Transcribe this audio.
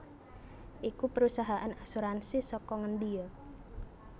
iku perusahaan asuransi saka ngendi yo